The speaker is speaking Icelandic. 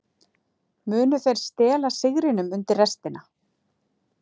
Munu þeir stela sigrinum undir restina?